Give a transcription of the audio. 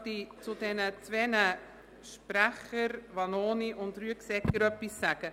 Ich möchte etwas zu den Voten der Grossräte Vanoni und Rüegsegger sagen.